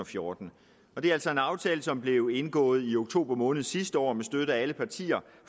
fjorten og det er altså en aftale som blev indgået i oktober måned sidste år med støtte af alle partier